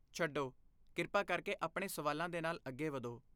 ਛੱਡੋ, ਕਿਰਪਾ ਕਰਕੇ ਆਪਣੇ ਸਵਾਲਾਂ ਦੇ ਨਾਲ ਅੱਗੇ ਵਧੋ।